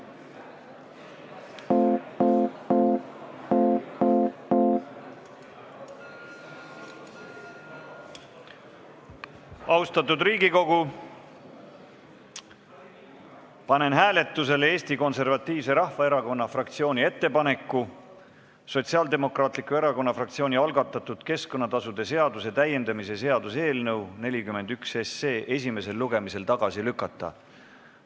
Austatud Riigikogu, panen hääletusele Eesti Konservatiivse Rahvaerakonna fraktsiooni ettepaneku Sotsiaaldemokraatliku Erakonna fraktsiooni algatatud keskkonnatasude seaduse täiendamise seaduse eelnõu 41 esimesel lugemisel tagasi lükata.